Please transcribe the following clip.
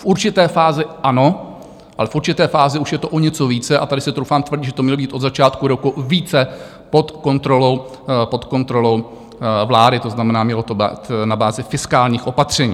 V určité fázi ano, ale v určité fázi už je to o něco více - a tady si troufám tvrdit, že to mělo být od začátku roku více pod kontrolou vlády, to znamená, mělo to být na bázi fiskálních opatření.